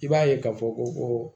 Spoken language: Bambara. I b'a ye k'a fɔ ko